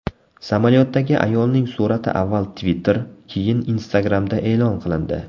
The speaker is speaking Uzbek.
Samolyotdagi ayolning surati avval Twitter, keyin Instagram’da e’lon qilindi.